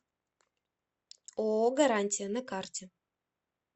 ооо гарантия на карте